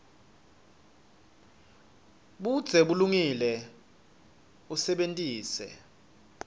budze bulungile usebentise